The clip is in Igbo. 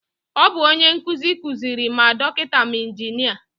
Ọ bu onye nkụzi kuziri ma dọkịta ma injinia